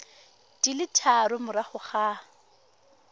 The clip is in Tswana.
di le tharo morago ga